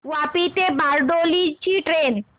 वापी ते बारडोली ची ट्रेन